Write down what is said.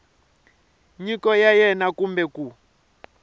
nyiko ya wena kumbe ku